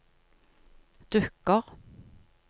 dukker